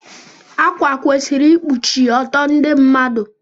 Akwa kwesịrị ikpuchi ọtọ ndị mmadụ.